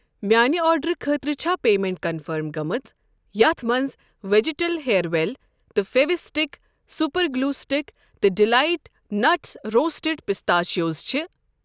میانہِ آرڈر خٲطرٕ چھا پیمیٚنٹ کنفٔرم گٔمٕژ یتھ مَنٛز وٮ۪جِٹل ہییر وٮ۪ل تہٕ Fevistick super glue stick تہٕ ڈِلایٹ نٹس روسٹڈ پِسٹیچوز چھ؟